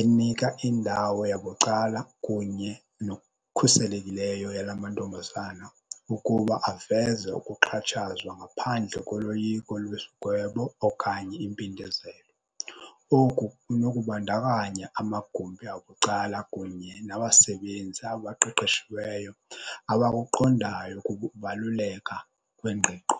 enika indawo yabucala kunye nokukhuselekileyo yala mantombazana ukuba aveze ukuxhatshazwa ngaphandle koloyiko lwesigwebo okanye impindezelo. Oku kunokubandakanya amagumbi abucala kunye nabasebenzi abaqeqeshiweyo abakuqondayo ukubaluleka kwengqiqo.